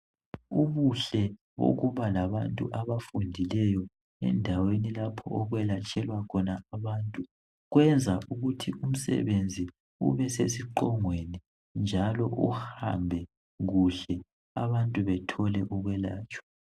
Ubuhle bokuba labantu abafundileyo endaweni lapho okwelatshelwa khona abantu, kwenza ukuthi umsebenzi ube sesiqongweni njalo uhambe kuhle abantu bethole ukwelatshwa.